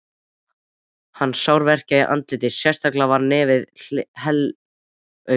Hann sárverkjaði í andlitið, sérstaklega var nefið helaumt.